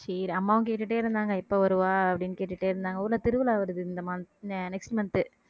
சரி அம்மாவும் கேட்டுட்டே இருந்தாங்க எப்ப வருவா அப்படின்னு கேட்டுட்டே இருந்தாங்க ஊர்ல திருவிழா வருது இந்த mon~ next month